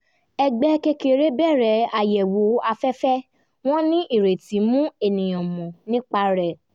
ẹgbẹ́ kékeré bẹ̀rẹ̀ àyẹ̀wò afẹ́fẹ́ wọ́n ní ìrètí mú ènìyàn mọ̀ nípa rẹ̀